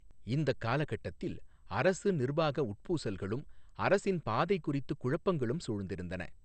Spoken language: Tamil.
இந்தக் காலகட்டத்தில் அரசு நிர்வாக உட்பூசல்களும் அரசின் பாதை குறித்து குழப்பங்களும் சூழ்ந்திருந்தன.